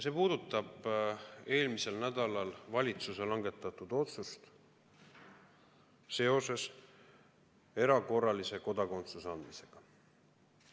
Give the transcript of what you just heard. See puudutab eelmisel nädalal valitsuse langetatud otsust seoses erakorralise kodakondsuse andmisega.